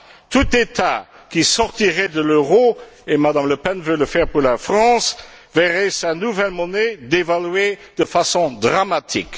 Tout État qui sortirait de l'euro et Mme Le Pen veut le faire pour la France verrait sa nouvelle monnaie dévaluée de façon dramatique.